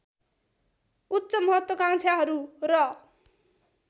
उच्च महत्वाकांक्षाहरू र